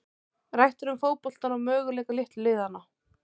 Rætt er um fótboltann og möguleika litlu liðanna.